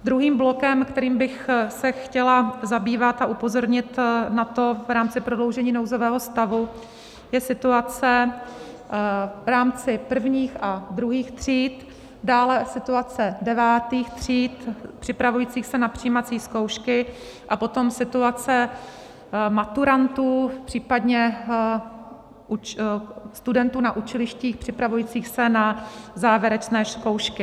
Druhým blokem, kterým bych se chtěla zabývat, a upozornit na to v rámci prodloužení nouzového stavu, je situace v rámci prvních a druhých tříd, dále situace devátých tříd připravujících se na přijímací zkoušky a potom situace maturantů, případně studentů na učilištích připravujících se na závěrečné zkoušky.